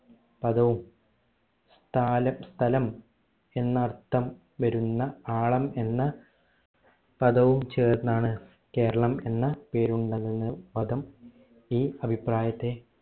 പദവും സ്ഥാലം സ്ഥലം എന്ന അർഥം വരുന്ന ആളം എന്ന പദവും ചേർന്നാണ് കേരളം എന്ന പേരുണ്ടായത് എന്ന് പദം ഈ അഭിപ്രായത്തെ